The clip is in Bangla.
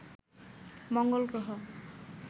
মঙ্গল গ্রহ